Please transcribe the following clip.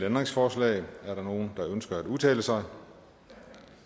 ændringsforslag er der nogen der ønsker at udtale sig da